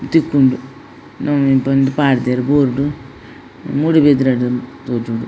ತಿಕ್ಕುಂಡು ನವ್ಮಿ ಪಂದ್ ಪ್ಪಾಡ್ದೆರ್ ಬೋರ್ಡ್ ಮೂಡುಬಿದ್ರೆ ಡ್ ತೋಜೊಡು.